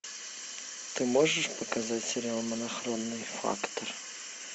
ты можешь показать сериал монохромный фактор